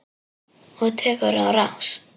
Og tekur á rás.